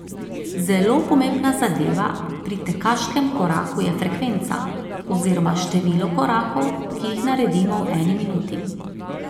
Zelo pomembna zadeva pri tekaškem koraku je frekvenca, oziroma število korakov, ki jih naredimo v eni minuti.